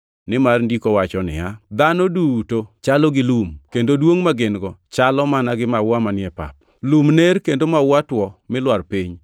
Nimar Ndiko wacho niya, “Dhano duto chalo gi lum kendo duongʼ ma gin-go chalo mana gi maua manie pap; lum ner kendo maua two mi lwar piny,